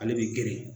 Ale bɛ geren